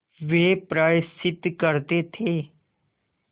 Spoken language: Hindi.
वे प्रायश्चित करते थे